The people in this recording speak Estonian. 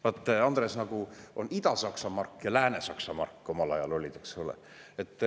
Vaata, Andres, nagu omal ajal olid Ida-Saksa mark ja Lääne-Saksa mark, eks ole.